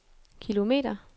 kilometer